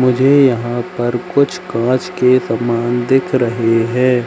मुझे यहां पर कुछ कांच के समान दिख रहे है।